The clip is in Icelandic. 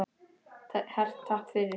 Hart takk fyrir.